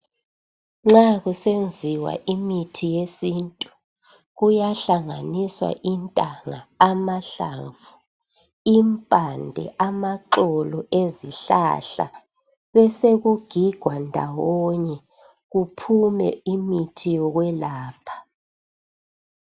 Nxa kusenziwa imithi yesintu kuyahlanganiswa intanga ,amahlamvu, impande ,,amaxolo ezihlahla kubesekugigwa ndawonye kuphume imithi yokwelapha